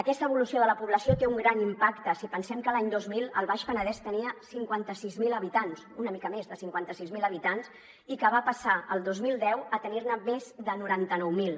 aquesta evolució de la població té un gran impacte si pensem que l’any dos mil el baix penedès tenia cinquanta sis mil habitants una mica més de cinquanta sis mil habitants i que va passar el dos mil deu a tenir ne més de noranta nou mil